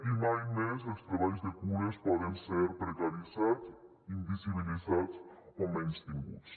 i mai més els treballs de cures poden ser precaritzats invisibilitats o menystinguts